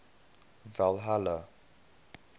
valhalla